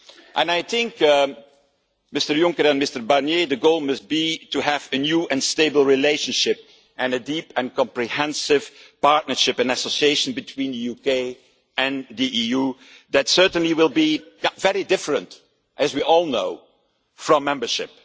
And I think, Mr Juncker and Mr Barnier, the goal must be to have a new and stable relationship and a deep and comprehensive partnership and association between the UK and the EU that certainly will be very different, as we all know, from membership.